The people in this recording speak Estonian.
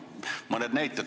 Noh, mõned näited.